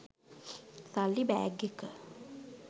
සල්ලි බෑග් එක.